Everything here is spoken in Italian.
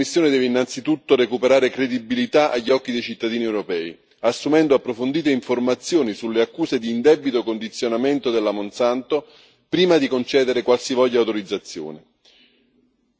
Su questo tema la Commissione deve innanzitutto recuperare credibilità agli occhi dei cittadini europei, assumendo approfondite informazioni sulle accuse di indebito condizionamento della Monsanto, prima di concedere qualsivoglia autorizzazione.